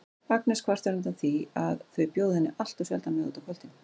Agnes kvartar undan því að þau bjóði henni alltof sjaldan með út á kvöldin.